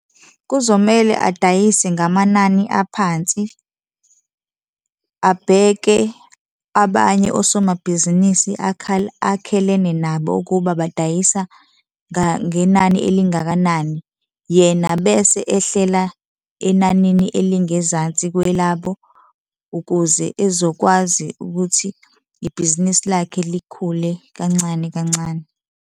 Kuzomele adayise ngamanani aphansi, abheke abanye osomabhizinisi akhelene nabo ukuba badayisa ngenani elingakanani, yena bese ehlela enanini elingezansi kwelabo ukuze ezokwazi ukuthi ibhizinisi lakhe likhule kancane kancane.